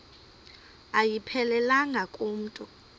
ayiphelelanga ku mntu